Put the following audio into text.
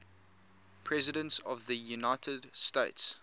presidents of the united states